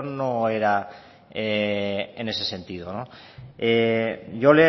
no era en ese sentido yo